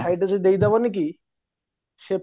ସାଇଟିରେ ଯଦି ଦେଇଦେବନିକି ସେ